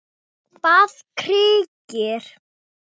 bað Birkir.